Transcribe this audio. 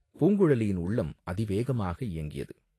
பூங்குழலியின் உள்ளம் அதிவேகமாக இயங்கியது.